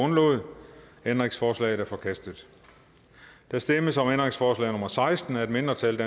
nul ændringsforslaget er forkastet der stemmes om ændringsforslag nummer seksten af et mindretal